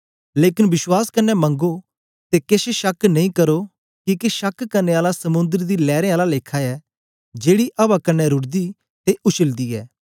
लेकन विश्वास कन्ने मंगो ते केछ शक नेई करो किके शक करने आला समुंद्र दी लैरें आला लेखा ऐ जेड़ी अवा कन्ने रुढ़दी ते उछलदी ऐ